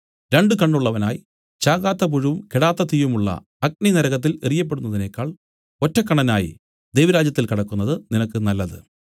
രണ്ടു കണ്ണുള്ളവനായി ചാകാത്ത പുഴുവും കെടാത്ത തീയുമുള്ള അഗ്നിനരകത്തിൽ എറിയപ്പെടുന്നതിനേക്കാൾ ഒറ്റക്കണ്ണനായി ദൈവരാജ്യത്തിൽ കടക്കുന്നത് നിനക്ക് നല്ലത്